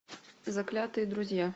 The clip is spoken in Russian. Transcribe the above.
заклятые друзья